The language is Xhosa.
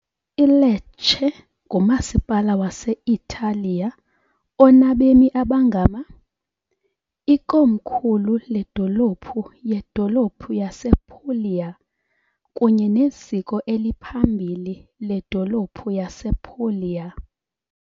ILecce ngumasipala wase-Italiya onabemi abangama , ikomkhulu ledolophu yedolophu yasePuglia kunye neziko eliphambili ledolophu yasePuglia.